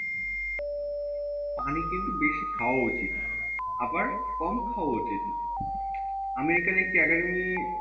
পানি কিন্তু বেশি খাওয়া উচিত আবার কম খাওয়া উচিত না American একটি academy